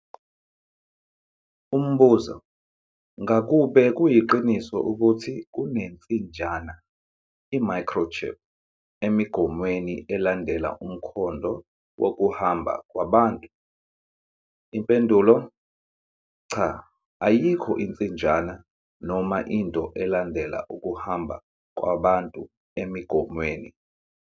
Umbuzo- Ngakube kuyiqiniso ukuthi kunensinjana i-microchip emigomweni, elandela umkhondo wokuhamba kwabantu? Impendulo- Cha. Ayikho insinjana noma into elandela ukuhamba kwabantu emigomweni.